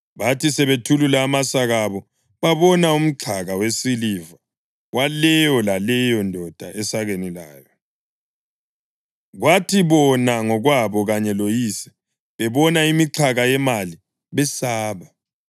Bathi sebethulula amasaka abo, babona umxhaka wesiliva waleyo laleyo ndoda esakeni layo! Kwathi bona ngokwabo kanye loyise bebona imixhaka yemali besaba.